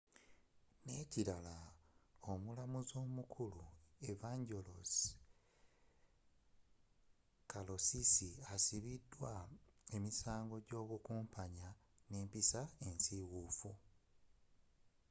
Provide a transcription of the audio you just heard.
n'ekirala omulamuzi omukulu evangelos kalousis asibiddwa emisango gy'obukumpanya n'empisa ensiiwuufu